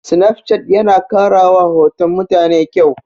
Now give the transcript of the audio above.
Sinafcat yana ƙarawa hoton mutane ƙyau.